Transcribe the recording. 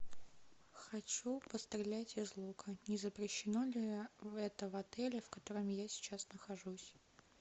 хочу пострелять из лука не запрещено ли это в отеле в котором я сейчас нахожусь